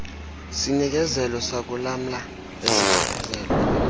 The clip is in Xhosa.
sinikezelo sakulamla esichaphazela